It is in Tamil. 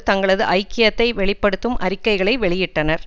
தங்களது ஐக்கியத்தை வெளி படுத்தும் அறிக்கைகளை வெளியிட்டனர்